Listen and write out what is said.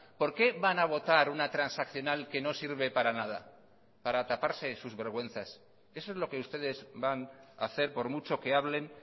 por qué van a votar una transaccional que no sirve para nada para taparse sus vergüenzas eso es lo que ustedes van a hacer por mucho que hablen